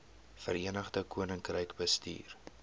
verenigde koninkryk bestuur